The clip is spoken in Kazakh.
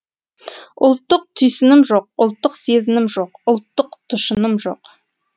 ұлттық түйсінім жоқ ұлттық сезінім жоқ ұлттық тұшыным жоқ